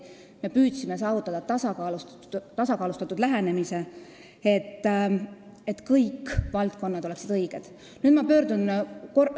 Me püüdsime saavutada tasakaalustatud lähenemise, et kõik valdkonnad oleksid õiglaselt koheldud.